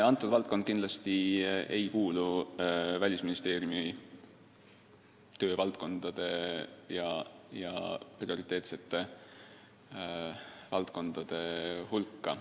See valdkond kindlasti ei kuulu Välisministeeriumi töövaldkondade ja eriti mitte prioriteetsete valdkondade hulka.